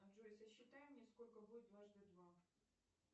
джой сосчитай мне сколько будет дважды два